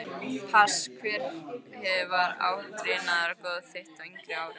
pass Hver var átrúnaðargoð þitt á yngri árum?